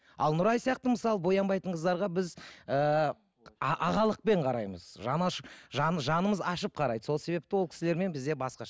ал нұрай сияқты мысалы боянбайтын қыздарға біз ііі ағалықпен қараймыз жанымыз ашып қарайды сол себепті ол кісілермен бізде басқаша